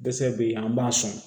Dɛsɛ bɛ yen an b'a sɔn